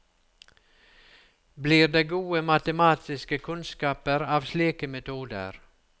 Blir det gode matematiske kunnskaper av slike metoder?